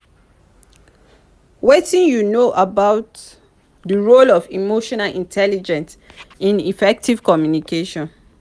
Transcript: wetin you know about di role of emotional intelligence in effective communication?